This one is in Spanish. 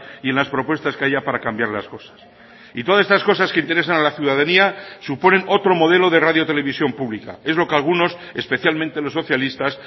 y en las propuestas que haya para cambiar las cosas y todas estas cosas que interesan a la ciudadanía suponen otro modelo de radio televisión pública es lo que algunos especialmente los socialistas